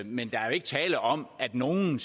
men der er jo ikke tale om at nogen